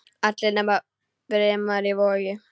Allir nema Brimar í Vogi.